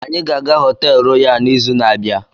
Anyị ga-aga họteelu Royal n'izu na-abịa.